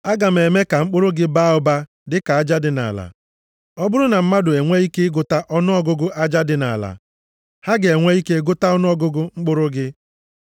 Aga m eme ka mkpụrụ gị baa ụba dịka aja dị nʼala. Ọ bụrụ na mmadụ enwe ike ịgụta ọnụọgụgụ aja dị nʼala, ha ga-enwe ike gụta ọnụọgụgụ mkpụrụ gị.